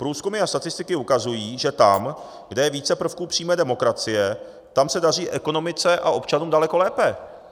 Průzkumy a statistiky ukazují, že tam, kde je více prvků přímé demokracie, tam se daří ekonomice a občanům daleko lépe.